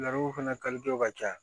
Laro fana kalitew ka ca